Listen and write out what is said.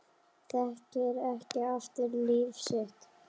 Þekkir ekki aftur líf sitt